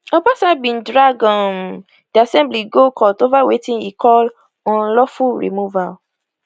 obasa bin drag um di assembly go court ova wetin e call unlawful removal